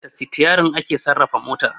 Da Sitiyarin ake sarrafa mota